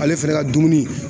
Ale fɛnɛ ka dumuni